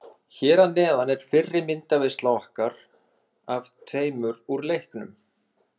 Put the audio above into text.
Hér að neðan er fyrri myndaveisla okkar af tveimur úr leiknum.